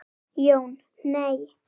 Jón: Nei.